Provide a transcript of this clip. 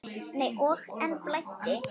Og enn blæddi.